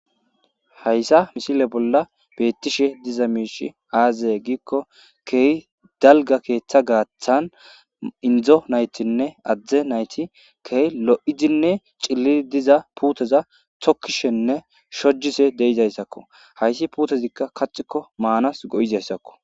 hayssa misile bolla beettishe diza miishi aazaye giikko keey dalga keeththa gaaththan indzo naytinne adzdze nayti keeh lo7izinne cillii diza puuteza tokkishenne shojise deizayssakko hayssi puutezikka kaxikko maanas go7izayssakko